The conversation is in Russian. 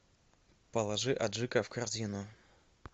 положи аджика в корзину